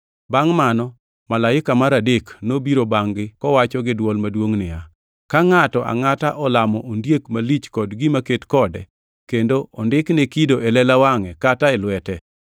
Bangʼ mano, malaika mar adek nobiro bangʼ-gi kowacho gi dwol maduongʼ niya, “Ka ngʼato angʼata olamo ondiek malich kod gima ket kode, kendo ondikne kido e lela wangʼe kata e lwete,